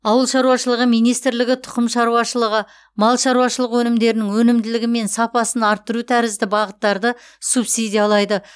ауыл шаруашылығы министрлігі тұқым шаруашылығы мал шаруашылығы өнімдерінің өнімділігі мен сапасын арттыру тәріззді бағыттарды субсидиялайды